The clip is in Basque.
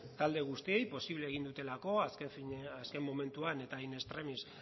talde guztiei posible egin dutelako azken momentuan eta in extremis